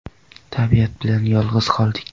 Tabiat bilan yolg‘iz qoldik.